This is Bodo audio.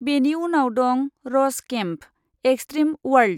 बेनि उनाव दं 'रस केम्पः एक्स्ट्रिम अवार्ल्ड'।